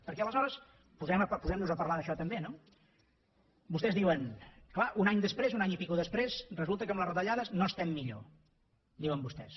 perquè aleshores posem nos a parlar d’això també no vostès diuen clar un any després un any i escaig després resulta que amb les retallades no estem millor diuen vostès